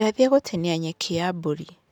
Ndathiĩ gũtinia nyeki ya mbũri.